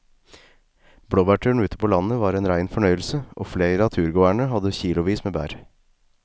Blåbærturen ute på landet var en rein fornøyelse og flere av turgåerene hadde kilosvis med bær.